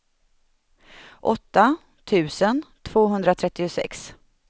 åtta tusen tvåhundratrettiosex